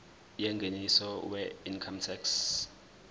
yengeniso weincome tax